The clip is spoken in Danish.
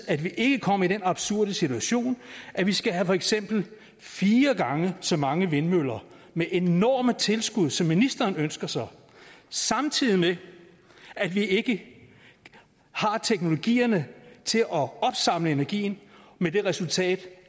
at vi ikke kommer i den absurde situation at vi skal have for eksempel fire gange så mange vindmøller med enorme tilskud som ministeren ønsker sig samtidig med at vi ikke har teknologierne til at opsamle energien hvad der resulterer i